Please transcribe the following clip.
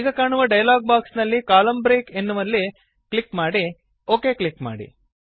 ಈಗ ಕಾಣುವ dialogue box ನಲ್ಲಿ ಕಾಲಮ್ನ ಬ್ರೇಕ್ ಎಂಬಲ್ಲಿ ಕ್ಲಿಕ್ ಮಾಡಿ ಒಕ್ ಕ್ಲಿಕ್ ಮಾಡಿ